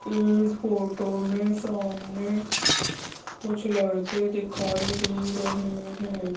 अं इस फोटो में सामने कुछ लड़के दिखाई दे रहे हैं।